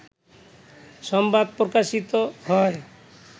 সংবাদ প্রকাশিত হয়